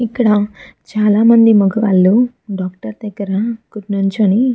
ఇక్కడ చాల మంది మొగవాళ్ళు డాక్టర్ దగ్గర కు నిలుచొని --